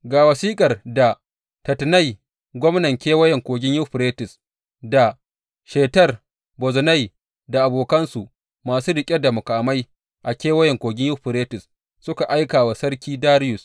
Ga wasiƙar da Tattenai, gwamnan Kewayen Kogin Yuferites, da Shetar Bozenai da abokansu masu riƙe da muƙamai a Kewayen Kogin Yuferites suka aika wa Sarki Dariyus.